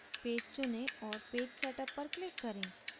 page चुनें और page setup पर click करें